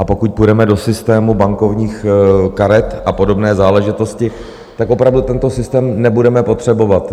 A pokud půjdeme do systému bankovních karet a podobné záležitosti, tak opravdu tento systém nebudeme potřebovat.